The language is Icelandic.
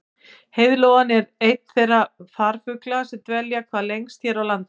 Heiðlóan er einn þeirra farfugla sem dvelja hvað lengst hér á landi.